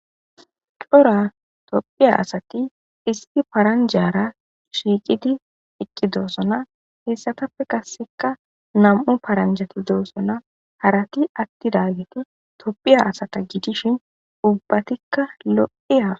Cora tophiya asati isti paranjara shiiqidi iqqi doossona hessatappe kasseka nam7u paranjati doosona harati atti daageti topphiya asata gidishin ubbatikka lo7i af.